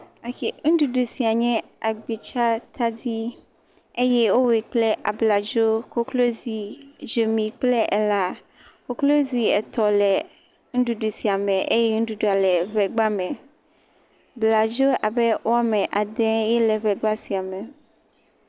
Ok, nuɖuɖu sia nye agbitsadadi eye wowɔe kple abladzo, koklozi, dzomi kple elã. Koklozi etɔ̃ le nuɖuɖu sia me eye nuɖuɖua le ŋegba me. blazo abe wo ame ade ye le ŋegba sia me.